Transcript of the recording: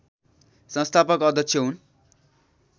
संस्थापक अध्यक्ष हुन्